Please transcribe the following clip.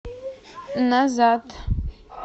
назад